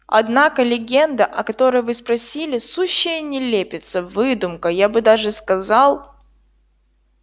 однако легенда о которой вы спросили сущая нелепица выдумка я бы даже сказал